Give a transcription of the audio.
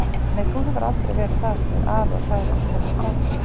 Nei, þú hefur aldrei verið það, segir afi og hlær uppgerðarhlátri.